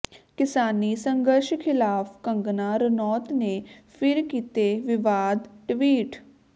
ਕਿਸਾਨੀ ਸੰਘਰਸ਼ ਖਿਲਾਫ਼ ਕੰਗਨਾ ਰਣੌਤ ਨੇ ਫਿਰ ਕੀਤੇ ਵਿਵਾਦਤ ਟਵੀਟ